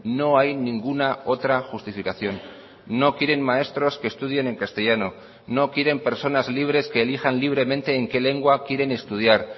no hay ninguna otra justificación no quieren maestros que estudien en castellano no quieren personas libres que elijan libremente en qué lengua quieren estudiar